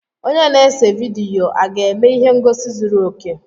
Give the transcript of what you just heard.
Onye na-ese vidiyo aga-eme ihe ngosi zuru oke?